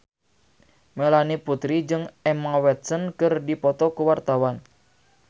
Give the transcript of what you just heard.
Melanie Putri jeung Emma Watson keur dipoto ku wartawan